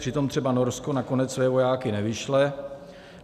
Přitom třeba Norsko nakonec své vojáky nevyšle.